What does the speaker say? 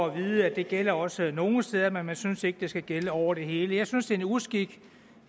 at vide at det gælder også nogle steder men man synes ikke det skal gælde over det hele jeg synes en uskik